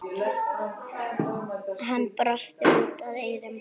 Hann brosir út að eyrum.